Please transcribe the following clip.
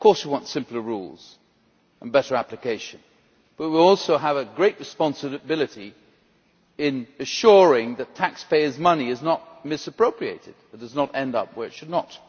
Of course we want simple rules and better application, but we also have a great responsibility in ensuring that taxpayers' money is not misappropriated and does not end up where it should not.